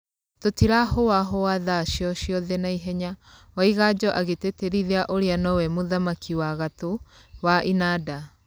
Tũtirahũahũa tha ciociothe naihenya," Waiganjo agĩtĩtĩrithia ũrĩa nowe mũthaki wĩ gatũ wa inanda.